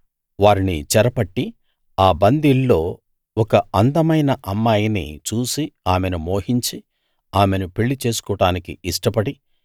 వారిని చెరపట్టి ఆ బందీల్లో ఒక అందమైన అమ్మాయిని చూసి ఆమెను మోహించి ఆమెను పెళ్లి చేసుకోడానికి ఇష్టపడి